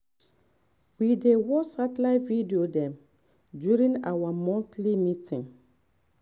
we dey watch satellite video dem during our monthly meeting